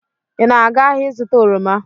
Ị na-aga ahịa ịzụta oroma?